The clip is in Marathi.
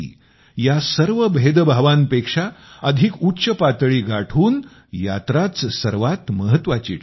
या सर्व भेद्भावांपेक्षा अधिक उच्च पातळी गाठून यात्राच सर्वात महत्त्वाची ठरते